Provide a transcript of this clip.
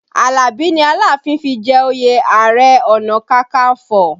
Alabi ni Aláàfin fi jẹ òye Ààrẹ ọ̀nà kakanfo